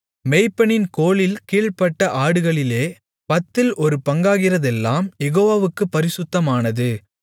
மேய்ப்பனின் கோலின் கீழ்ப்பட்ட ஆடுமாடுகளிலே பத்தில் ஒரு பங்காகிறதெல்லாம் யெகோவாவுக்குப் பரிசுத்தமானது